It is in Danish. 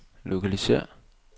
lokalisér